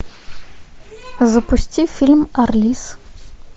запусти фильм арлисс